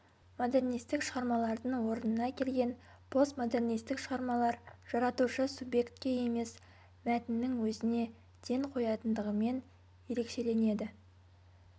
модернистік шығармалардың орнына келген постмодернистік шығармалар жаратушы субъектке емес мәтіннің өзіне ден қоятындығымен ерекшеленеді